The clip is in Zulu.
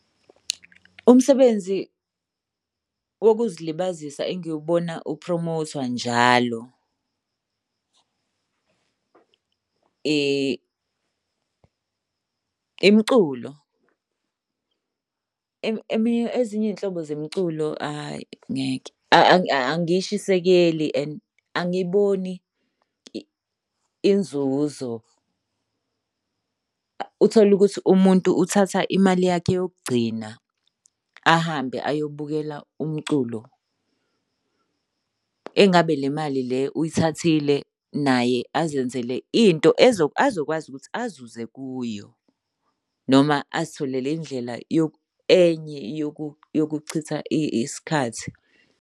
Umsebenzi wokuzilibazisa engiwubona upromothwa njalo, imiculo. Ezinye iy'nhlobo zemculo hhayi ngeke, angishisekeli and angiboni inzuzo. Uthole ukuthi umuntu uthatha imali yakhe yokugcina ahambe ayobukela umculo. Engabe le mali le uyithathile naye azenzele into azokwazi ukuthi azuze kuyo noma azitholelwe indlela enye yokuchitha isikhathi.